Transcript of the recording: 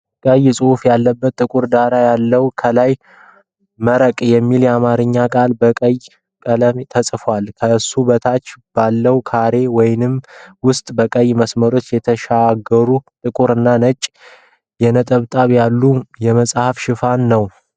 ቀይ ጽሑፍ ያለበት ጥቁር ዳራ አለው። ከላይ "መረቅ" የሚል የአማርኛ ቃል በቀይ ቀለም ተጽፏል። ከሱ በታች ባለው ካሬ ውስጥ በቀይ መስመሮች የተሻገሩ ጥቁር እና ነጭ ነጠብጣቦች ያሉት የመጻፍ ሽፋን ።